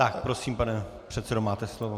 Tak prosím, pane předsedo, máte slovo.